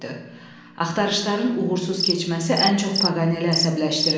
Axtarışların uğursuz keçməsi ən çox Paganeli əsəbləşdirirdi.